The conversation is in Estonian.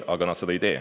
Aga nad ei tee seda.